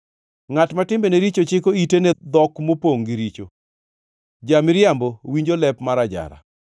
Ngʼat ma timbene richo chiko ite ne dhok mopongʼ gi richo, ja-miriambo winjo lep mar ajara.